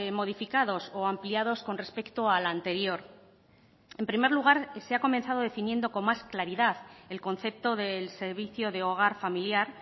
modificados o ampliados con respecto al anterior en primer lugar se ha comenzado definiendo con más claridad el concepto del servicio de hogar familiar